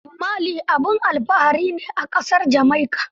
Bob Marley abin alfahari ne a ƙasar Jamaica.